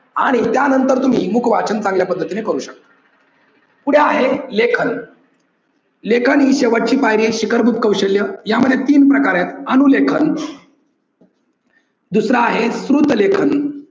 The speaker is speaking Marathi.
आणि त्या नंतर तुम्ही मुख वाचन चांगल्या पद्धतीने करू शकता. पुढे आहे लेखन लेखन हे शेवटची पायरी आहे शिखरभूत कौशल्य यामध्ये तीन प्रकार आहेत अनुलेखन दुसर आहे श्रुत लेखन